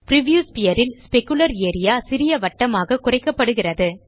preview sphere ல் specular area சிறிய வட்டமாக குறைக்கப்படுகிறது